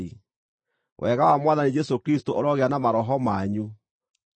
Wega wa Mwathani Jesũ Kristũ ũrogĩa na maroho manyu. Ameni.